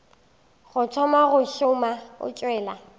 thoma go šoma o tšwela